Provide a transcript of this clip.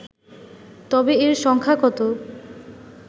তবে এর সংখ্যা কত